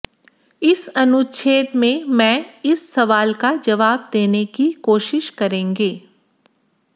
इस अनुच्छेद में मैं इस सवाल का जवाब देने की कोशिश करेंगे